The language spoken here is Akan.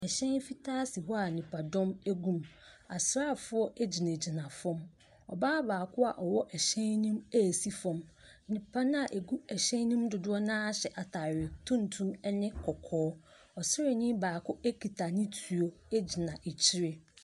Hyɛn fitaa si hɔ a nnipadɔm gu mu, asraafo gyinagyina fam. Ɔbaa baako a ɔwɔ hyɛn ne mu ɛresi fam. Nnipa no a ɛgu hyɛn ne mu dodoɔ no ara hyɛ ataare tuntum ne kɔkɔɔ. Ɔsraani baako kita ne tuo gyina akyire.